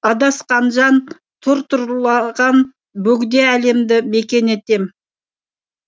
адасқан жан тұр тұрлаған бөгде әлемді мекен етем